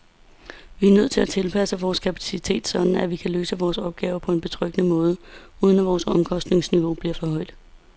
Vi er nødt til at tilpasse vores kapacitet sådan, at vi kan løse vores opgaver på betryggende måde, uden at vores omkostningsniveau bliver for højt.